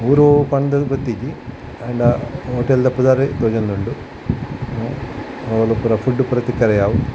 ಊರು ಒವು ಪಂದ್ ಗೊತ್ತಿಜ್ಜಿ ಆಂಡ ಹೊಟೇಲ್ ದ ಪುದರ್ ತೋಜೊಂದುಂಡು ಅವುಲು ಪೂರ ಫುಡ್ಡ್ ತಿಕ್ಕರೆ ಯಾವ್.